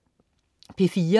P4: